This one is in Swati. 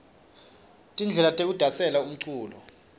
tindlela tekudasela lomculo